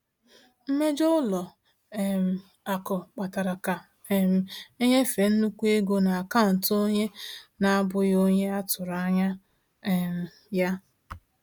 Mmejọ ụlọ um akụ kpatara ka um e nyefee nnukwu ego n’akaụntụ onye na-abụghị onye a tụrụ anya um ya.